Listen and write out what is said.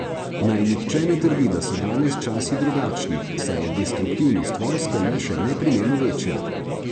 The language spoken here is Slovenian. Naj nihče ne trdi, da so danes časi drugačni, saj je destruktivnost vojske le še neprimerno večja.